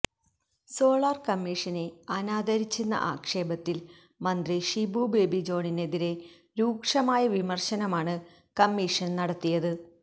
solar കമ്മീഷനെ അനാദരിച്ചെന്ന ആക്ഷേപത്തിൽ മന്ത്രി ഷിബു ബേബി ജോണിനെതിരെ രൂക്ഷമായ വിമർശനമാണ് കമ്മിഷൻ നടത്തിയത്